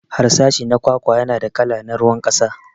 Harsashi na kwakwa yana da kala na ruwan kasa.